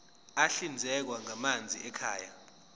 ahlinzekwa ngamanzi ekhaya